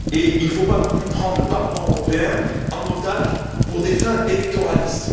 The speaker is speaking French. Il ne faut pas non plus prendre le Parlement européen en otage à des fins électoralistes.